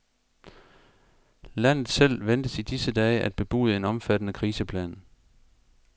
Landet selv ventes i disse dage at bebude en omfattende kriseplan.